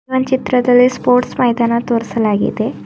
ಆ ಚಿತ್ರದಲ್ಲಿ ಸ್ಪೋರ್ಟ್ಸ್ ಮೈದಾನ ತೋರಿಸಲಾಗಿದೆ.